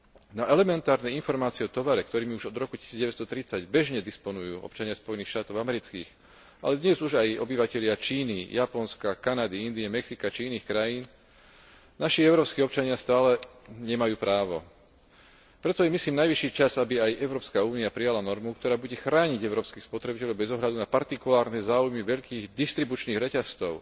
Na elementárne informácie o tovare, ktorými už od roku 1930 bežne disponujú občania Spojených štátov amerických, ale dnes už aj obyvatelia Číny, Japonska, Kanady, Indie, Mexika či iných krajín, naši európski občania stále nemajú právo. Preto je, myslím, najvyšší čas, aby aj Európska únia prijala normu, ktorá bude chrániť európskych spotrebiteľov bez ohľadu na partikulárne záujmy veľkých distribučných reťazcov